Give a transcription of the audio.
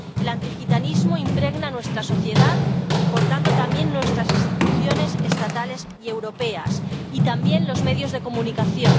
El antigitanismo impregna nuestra sociedad y, por tanto, también nuestras instituciones estatales y europeas y también los medios de comunicación.